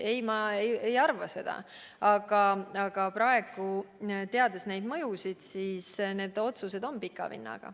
Ei, ma ei arva seda, aga praegu me teame, et nende otsuste mõju on pika vinnaga.